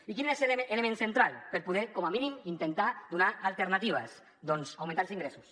i quin és l’element central per poder com a mínim intentar donar alternatives doncs augmentar els ingressos